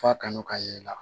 F'a kanu ka y'i la